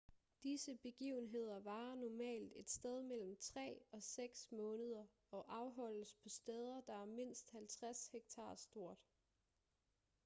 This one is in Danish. disse begivenheder varer normalt et sted mellem tre og seks måneder og afholdes på steder der er mindst 50 hektar stort